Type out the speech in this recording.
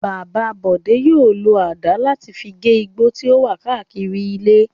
Bàbá Bọ̀dé yóò lo àdá láti fi gé igbó tí ó wà káàkiri ilé.